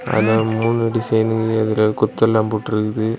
அதுல மூணு டிசைனு அது ஒரு கொத்து எல்லாம் போட்டுருக்குது.